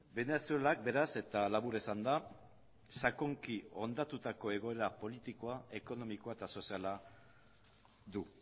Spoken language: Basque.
venezuelak beraz eta labur esanda sakonki hondatutako egoera politikoa ekonomikoa eta soziala du